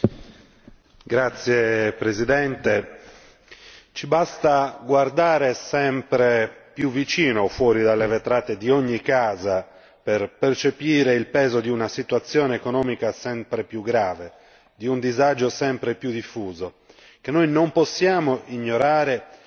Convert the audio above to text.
Signor Presidente, onorevoli colleghi, ci basta guardare sempre più vicino, fuori dalle vetrate di ogni casa, per percepire il peso di una situazione economica sempre più grave, di un disagio sempre più diffuso, che noi non possiamo ignorare, dato che